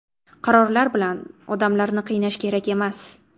Qarorlar bilan odamlarni qiynash kerak emas.